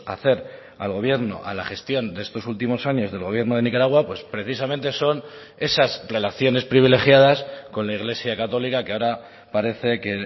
hacer al gobierno a la gestión de estos últimos años del gobierno de nicaragua pues precisamente son esas relaciones privilegiadas con la iglesia católica que ahora parece que